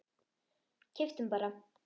Keyptum bara